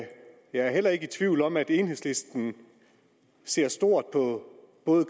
jeg er heller ikke i tvivl om at enhedslisten ser stort på både